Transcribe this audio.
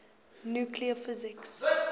nuclear physics